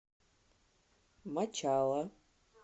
мачала